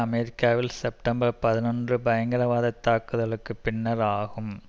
அமெரிக்காவில் செப்டம்பர் பதினொன்று பயங்கரவாதத் தாக்குதல்களுக்கு பின்னர் ஆகும்